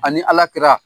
Ani ala kira